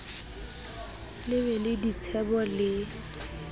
le be le ditsebo le